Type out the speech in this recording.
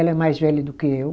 Ela é mais velha do que eu.